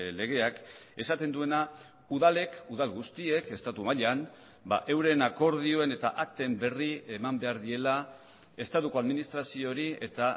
legeak esaten duena udalek udal guztiek estatu mailan euren akordioen eta akten berri eman behar diela estatuko administraziori eta